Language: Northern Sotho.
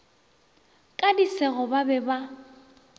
ka disego ba be ba